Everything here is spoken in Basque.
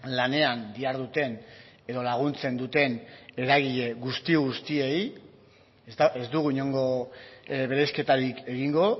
lanean diharduten edo laguntzen duten eragile guzti guztiei ez dugu inongo bereizketarik egingo